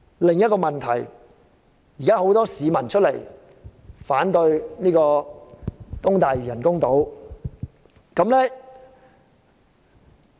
另一個問題是，很多市民反對興建東大嶼人工島。